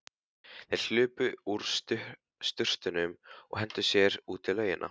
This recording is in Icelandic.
Þeir hlupu úr sturtunum og hentu sér út í laugina.